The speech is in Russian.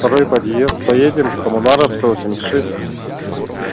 второй подъезд поедем коммунаров сто восемьдесят шесть